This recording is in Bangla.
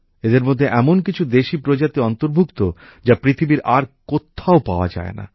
এদের মধ্যে এমন কিছু দেশি প্রজাতি অন্তর্ভুক্ত যা পৃথিবীর আর কোথাও পাওয়া যায় না